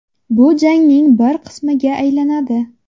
Bu jangning bir qismiga aylanadi.